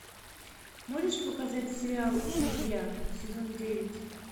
можешь показать сериал друзья сезон девять